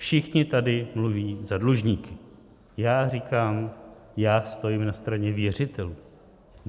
Všichni tady mluví za dlužníky, já říkám, že stojím na straně věřitelů.